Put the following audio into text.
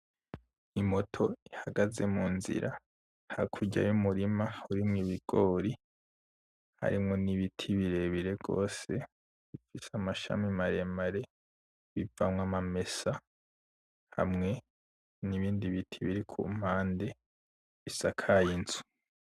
I moto ihagaze mu nzira hakurya y'umurima urimwo ibigori, harimwo n'ibiti birebire gose bifise amashami maremare bivamwo amamesa, hamwe n'ibindi biti biri kumpande bisakaye inzu.